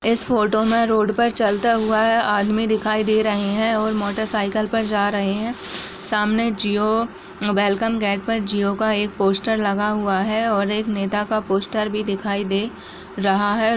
इस फोटो में रोड पर चलता हुआ है। आदमी दिखाई दे रहे हैं और मोटरसाइकिल पर जा रहे हैं । सामने जिओ वेलकम गेट पर जिओ का एक पोस्टर लगा हुआ है और एक नेता का पोस्टर भी दिखाई दे रहा है ।